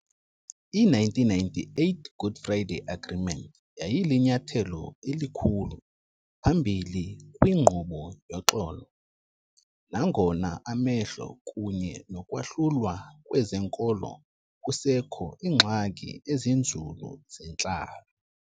I-1998 Good Friday Agreement yayilinyathelo elikhulu phambili kwinkqubo yoxolo, nangona amahlelo kunye nokwahlulwa kwezenkolo kusekho iingxaki ezinzulu zentlalo.